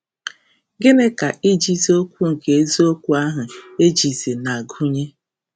Gịnị ka ‘ijizi okwu nke eziokwu ahụ ejizi’ na-agụnye?